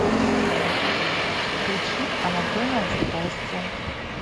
включи анатомия страсти